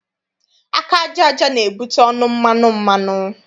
Aka aja aja na-ebute ọnụ mmanụ mmanụ.